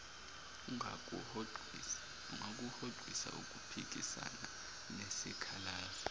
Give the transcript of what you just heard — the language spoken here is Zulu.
ungakuhoxisa ukuphikisana nesikhalazo